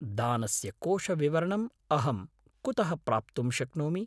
दानस्य कोषविवरणम् अहं कुतः प्राप्तुं शक्नोमि?